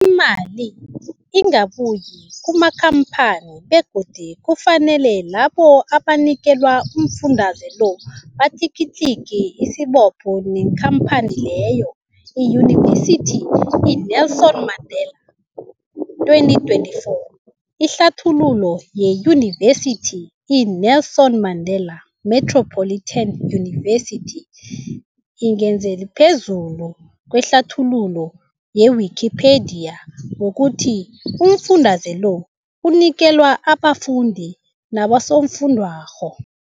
Imali ingabuyi kumakhamphani begodu kufanele labo abanikelwa umfundaze lo batlikitliki isibopho neenkhamphani leyo, Yunivesity i-Nelson Mandela 2024. Ihlathululo yeYunivesithi i-Nelson Mandela Metropolitan University, 2024, ingezelele phezulu kwehlathululo ye-Wikipedia, 2024, ngokuthi umfundaze lo unikelwa abafundi nabosofundwakgho.